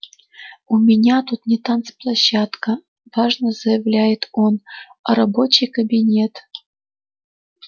у меня тут не танцплощадка важно заявляет он а рабочий кабинет